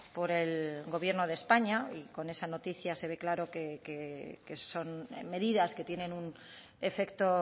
por el gobierno de españa y con esa noticia se ve claro que son medidas que tienen un efecto